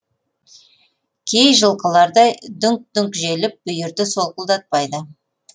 кей жылқылардай дүңк дүңк желіп бүйірді солқылдатпайды